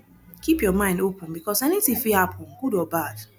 keep your mind open because anything fit happen good or bad